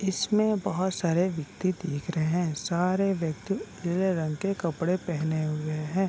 इसमें बहुत सारे व्यक्ति देख रहे हैं सारे व्यक्ति पीले रंग के कपड़े पहने हुए हैं।